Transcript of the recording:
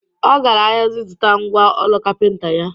Ọ gara ahịa ịzụta ngwa ọrụ kapịnta ya